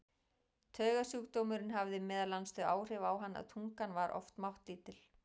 Taugasjúkdómurinn hafði meðal annars þau áhrif á hann að tungan var oft máttlítil.